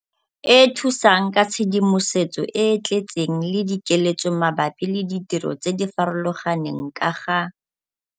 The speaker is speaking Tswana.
e thusang ka tshedimosetso e e tletseng le dikeletso mabapi le ditiro tse di farologaneng ka ga -